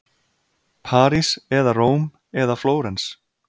París eða Róm eða Flórens.